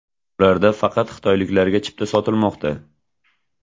Ularda faqat xitoyliklarga chipta sotilmoqda.